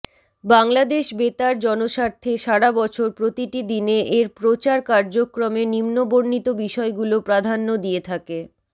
বাংলাদেশ বেতার জনস্বার্থে সারা বছর প্রতিটি দিনে এর প্রচার কার্যক্রমে নিম্নবর্ণিত বিষয়গুলো প্রাধান্য দিয়ে থাকেঃ